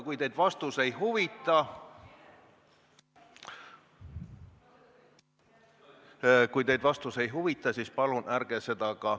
Kui teid vastus ei huvita, siis palun ärge ka küsimust esitage!